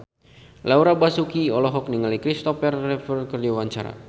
Laura Basuki olohok ningali Kristopher Reeve keur diwawancara